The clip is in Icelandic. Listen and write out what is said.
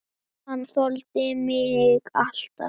Hann þoldi mig alltaf.